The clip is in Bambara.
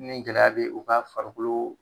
Ni gɛlɛya be u ka farikolo